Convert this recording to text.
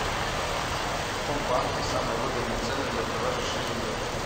в каком банке самые выгодные цены для продажи шиллингов